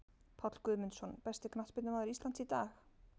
Páll Guðmundsson Besti knattspyrnumaður Íslands í dag?